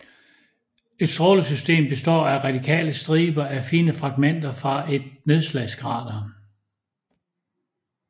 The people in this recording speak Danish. Et strålesystem består af radiale striber af fine fragtmenter fra et nedslagskrater